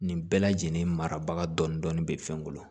Nin bɛɛ lajɛlen mara dɔɔnin dɔɔnin bɛ fɛn kɔnɔ